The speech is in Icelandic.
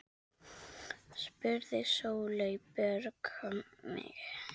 spurði Sóley Björk mig.